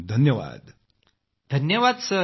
धन्यवाद पंतप्रधानजी